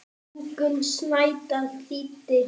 Ingunn Snædal þýddi.